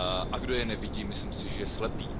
A kdo je nevidí, myslím si, že je slepý.